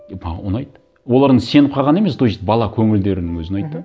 и маған ұнайды олардың сеніп қалғаны емес то есть бала көңілдерінің өзі ұнайды да мхм